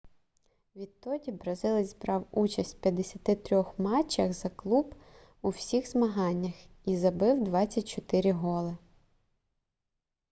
відтоді бразилець брав участь в 53 матчах за клуб у всіх змаганнях і забив 24 голи